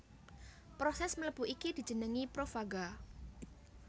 Prosès mlebu iki dijenengi profaga